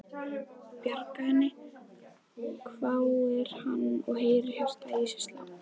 Bjarga henni? hváir hann og heyrir hjartað í sér slá.